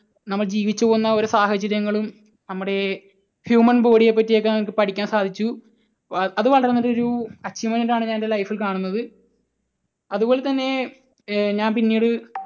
നമ്മൾ ജീവിച്ചു പോന്ന ഒരു സാഹചര്യങ്ങളും നമ്മുടെ human body യെപ്പറ്റി ഒക്കെ നമുക്ക് പഠിക്കാൻ സാധിച്ചു. അത് വളരെ നല്ല ഒരു achievement ആയിട്ടാണ് ഞാൻ എൻറെ life ൽ കാണുന്നത്. അതുപോലെ തന്നെ ഏർ ഞാൻ പിന്നീട്